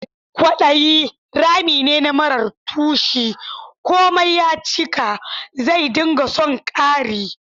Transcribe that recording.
Kwadayi rami ne marar tushe; komai ya cika, zai dinga son kari.